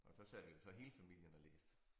Og så sad vi jo så hele familien og læste